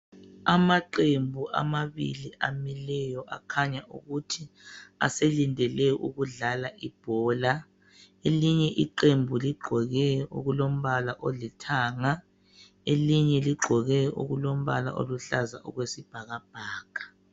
Amaqembu amabili amileyo akhanya ukuthi aselindele ukudlala ibhola elinye iqembu ligqoke okulombala olithanga elinye , elinye ligqoke okulombala oyisibhakabhaka.